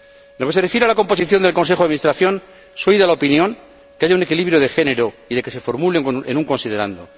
En lo que se refiere a la composición del Consejo de Administración, soy de la opinión de que haya un equilibrio de género y de que se formule en un considerando